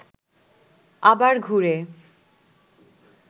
আবার ঘুরে